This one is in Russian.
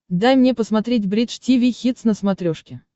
дай мне посмотреть бридж тиви хитс на смотрешке